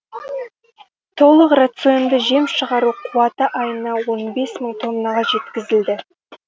толық рационды жем шығару қуаты айына он бес мың тоннаға жеткізілді